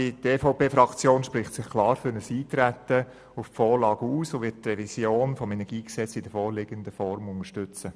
Die EVP-Fraktion spricht sich klar für ein Eintreten auf die Vorlage aus und wird die Revision des KEnG in der vorliegenden Form unterstützen.